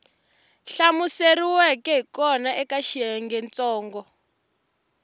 hlamuseriweke hi kona eka xiyengentsongo